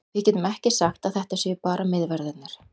Við getum ekki sagt að þetta séu bara miðverðirnir.